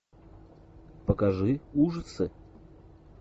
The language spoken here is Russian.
покажи ужасы